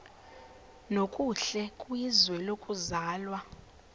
nokuhle kwizwe lokuzalwa